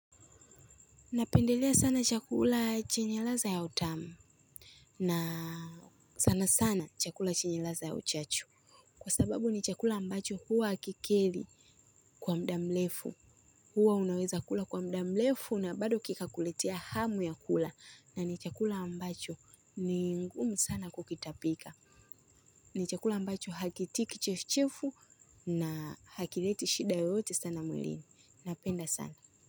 Napendelea sana chakula chenye ladha ya utamu na sana sana chakula chenye ladha ya uchachu kwa sababu huwa ni chakula ambacho hakikeri kwa muda mrefu huwa unaweza kula kwa muda mrefu na bado kikakuletea hamu ya kula na ni chakula ambacho ni ngumu sana kukitapika ni chakula ambacho hakitii kichefuchefu na hakileti shida yoyote sana mwilini napenda sana.